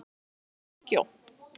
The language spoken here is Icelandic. Elenóra, áttu tyggjó?